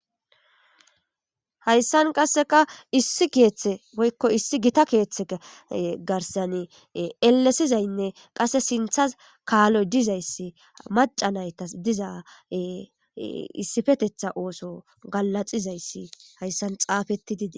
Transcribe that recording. Hayssan qasseka issi keeththe woykko issi gita keeththe garsan elesizaynne qasse sinthas kaaloy dizayssi maca naytas diza issifetetha ooso galaxizayssi hayssan xaafetti didi..